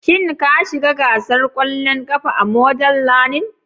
Shin ka shiga gasar ƙwallon ƙafa a Model learning?